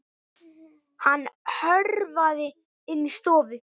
Hann hörfaði inn í stofu.